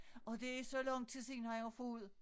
Og det er så lang tid siden han har fået